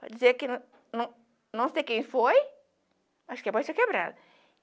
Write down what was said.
Pode dizer que não não não sei quem foi, acho que apareceu quebrada.